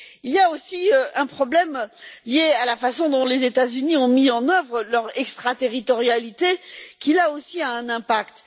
Il y a aussi un problème lié à la façon dont les États Unis ont mis en œuvre leur extraterritorialité, qui, là aussi, a un impact.